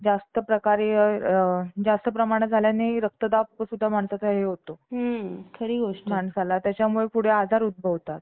परमेश्वर भागवन कथा श्रावण करतायेत. असे एकनाथ महाराज यांचे चरित्र आपण सगळे पाहत आहोत. एक भक्त बारा वर्षांपासून पंढरपूरमध्ये भगवंताच्या दर्शनासाठी,